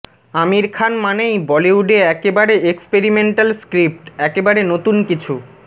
আমির খান মানেই বলিউডে একেবারে এক্সপেরিমেন্টাল স্ক্রিপ্ট একেবারে নতুন কিছু